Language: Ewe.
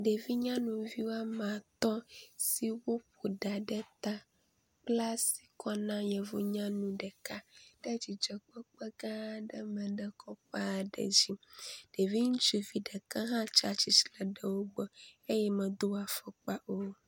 Ɖevi nyanuvi woame atɔ̃ siwo ƒo ɖa ɖe ta kpla asi kɔ na yevu nyanu ɖeka, tsatsitre ɖe afɔkpa kɔkɔ aɖe dzi. Ɖevi ŋutsuvi ɖeka hã tsatsitre ɖe wo gbɔ eye medo afɔkpa o.